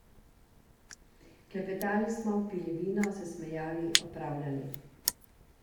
Klepetali smo, pili vino, se smejali, opravljali.